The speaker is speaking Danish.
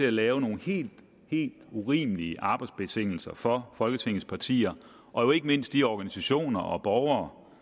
at lave nogle helt helt urimelige arbejdsbetingelser for folketingets partier og jo ikke mindst de organisationer og borgere